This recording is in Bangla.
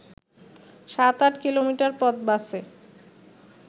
সাত-আট কিলোমিটার পথ বাসে